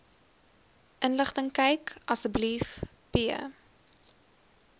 inligtingkyk asb p